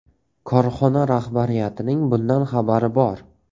Korxona rahbariyatining bundan xabari bor.